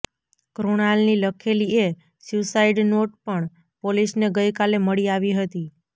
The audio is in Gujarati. કૃણાલની લખેલી એક સ્યૂઈસાઈડ નોટ પણ પોલીસને ગઈ કાલે મળી આવી હતી